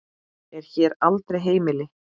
er hér aldrei heimil.